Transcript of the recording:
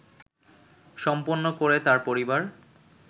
সম্পন্ন করে তার পরিবার